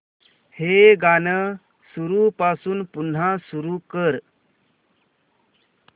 हे गाणं सुरूपासून पुन्हा सुरू कर